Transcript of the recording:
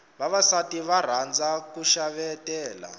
vavasati va rhandza ku xavetela